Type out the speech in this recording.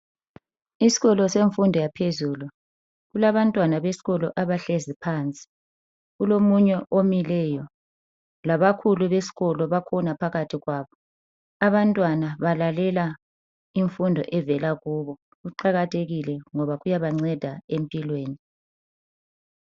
Isikolo semfundo yaphezulu, kulabantwana besikolo abahlezi phansi kulomunye omileyo. Labakhulu besikolo bakhona baphakathi kwabo. Abantwana balalela imfundo evela kibo .Kuqakathekile ngoba kuyabanceda empilweni.